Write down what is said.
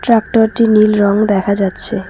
Tractor -টি নীল রং দেখা যাচ্ছে।